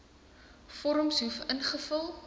vorms hoef ingevul